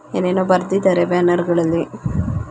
ಏನ್ ಏನೋ ಬರದಿದ್ದರೆ ಬ್ಯಾನರಗಳಲ್ಲಿ .